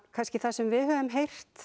kannski það sem við höfum heyrt